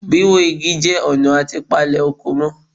Wíwó Igi jẹ́ ọ̀nà àti palè oko mọ́